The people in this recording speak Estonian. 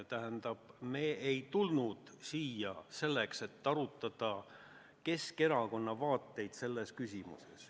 Tähendab, me ei ole tulnud siia selleks, et arutada Keskerakonna vaateid selles küsimuses.